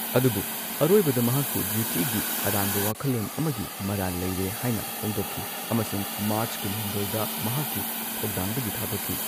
ꯑꯗꯨꯕꯨ ꯑꯔꯣꯏꯕꯗ ꯃꯍꯥꯛꯄꯨ ꯗ꯭ꯌꯨꯇꯤꯒꯤ ꯑꯔꯥꯟꯕ ꯋꯥꯈꯜꯂꯣꯟ ꯑꯃꯒꯤ ꯃꯔꯥꯜ ꯂꯩꯔꯦ ꯍꯥꯢꯅ ꯐꯣꯡꯗꯣꯛꯈꯤ ꯑꯃꯁꯨꯡ ꯃꯥꯔꯆ ꯀꯨꯟꯍꯨꯝꯗꯣꯏꯗ ꯃꯍꯥꯛꯀꯤ ꯊꯧꯗꯥꯡꯗꯒꯤ ꯊꯥꯗꯣꯛꯈꯤ꯫